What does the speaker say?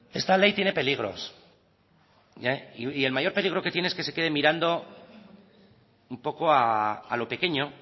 esta ley tiene peligros y el mayor peligro que tiene es que se quede mirando un poco a lo pequeño